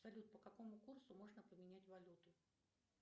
салют по какому курсу можно поменять валюту